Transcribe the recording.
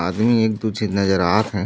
आदमी एक दू झी नज़र आत हे।